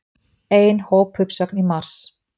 Ein hópuppsögn í mars